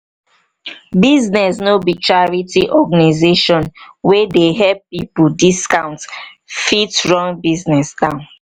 business no be charity organization wey dey help pipo discount fit run business down